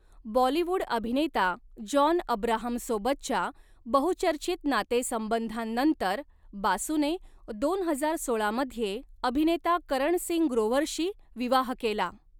बॉलीवूड अभिनेता जॉन अब्राहमसोबतच्या बहुचर्चित नातेसंबंधांनंतर बासूने दोन हजार सोळामध्ये अभिनेता करण सिंग ग्रोव्हरशी विवाह केला.